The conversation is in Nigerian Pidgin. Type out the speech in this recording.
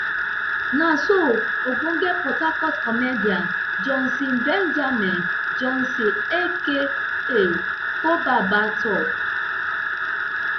na so ogbonge port harcourt comedian johnson benjamin johnson aka ko baba tok